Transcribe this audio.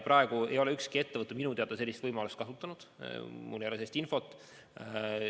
Praegu ei ole ükski ettevõte minu teada sellist võimalust kasutanud, mul ei ole sellist infot.